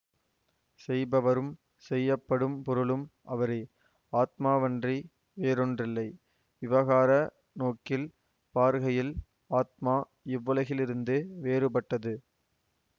செய்பவரும் செய்யப்படும் பொருளும் அவரே ஆத்மாவன்றி வேறோன்றில்லை விவகார நோக்கில் பார்கையில் ஆத்மா இவ்வுலகிலிருந்து வேறுபட்டது